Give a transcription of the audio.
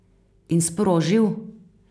In sprožil?